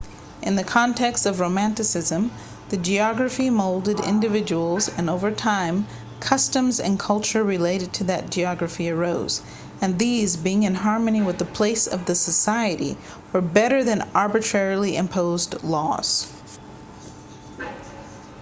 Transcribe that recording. in the context of romanticism the geography molded individuals and over time customs and culture related to that geography arose and these being in harmony with the place of the society were better than arbitrarily imposed laws